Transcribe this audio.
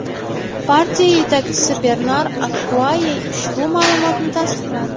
Partiya yetakchisi Bernar Akkuayye ushbu ma’lumotni tasdiqladi.